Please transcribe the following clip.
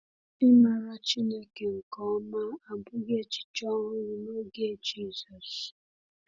Ịmara Chineke nke ọma abụghị echiche ọhụrụ n’oge Jizọs.